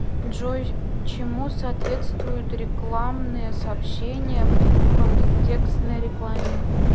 джой чему соответствуют рекламные сообщения в контекстной рекламе